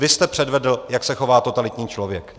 Vy jste předvedl, jak se chová totalitní člověk.